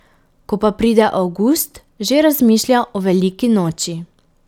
Ko pa pride avgust, že razmišlja o veliki noči.